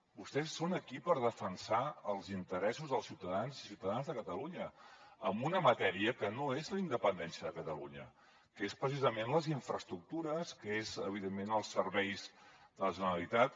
vostès són aquí per defensar els interessos dels ciutadans i ciutadanes de catalunya en una matèria que no és la independència de catalunya que són precisament les infraestructures que són evidentment els serveis de la generalitat